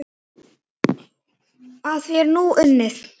Að því er nú unnið.